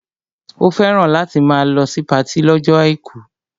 Ó fẹ́ràn láti máa lọ sí patí lọ́jọ́ àìkú